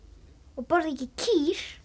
og borða ekki kýr